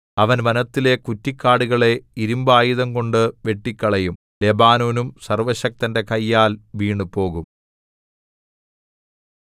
അവൻ വനത്തിലെ കുറ്റിക്കാടുകളെ ഇരിമ്പായുധംകൊണ്ടു വെട്ടിക്കളയും ലെബാനോനും സര്‍വ്വശക്തന്റെ കയ്യാൽ വീണുപോകും